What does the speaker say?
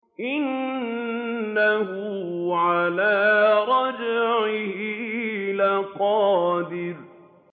إِنَّهُ عَلَىٰ رَجْعِهِ لَقَادِرٌ